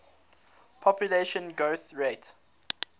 population growth rate